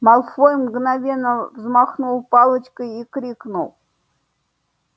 малфой мгновенно взмахнул палочкой и крикнул